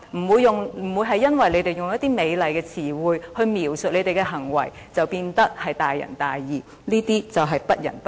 別以為他們用一些美麗的詞彙來描述他們的行為，便會變得大仁大義，他們其實是不仁不義。